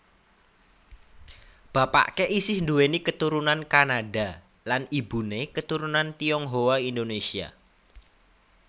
Bapaké isih nduwéni katurunan Kanada lan ibuné keturunan Tionghoa Indonesia